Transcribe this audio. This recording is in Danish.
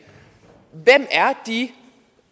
hvem er de